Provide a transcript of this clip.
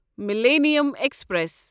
millennium express